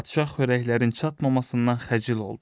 Padşah xörəklərin çatmamasından xəcil oldu.